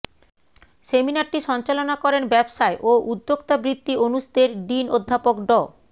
সেমিনারটি সঞ্চালনা করেন ব্যবসায় ও উদ্যোক্তাবৃত্তি অনুষদের ডিন অধ্যাপক ড